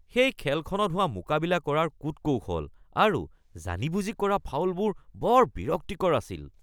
সেই খেলখনত হোৱা মোকাবিলা কৰাৰ কূট-কৌশল আৰু জানি বুজি কৰা ফাউলবোৰ বৰ বিৰক্তিকৰ আছিল